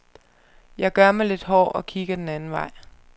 Jeg gør mig lidt hård og kigger den anden vej.